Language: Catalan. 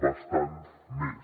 bastant més